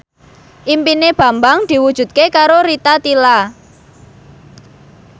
impine Bambang diwujudke karo Rita Tila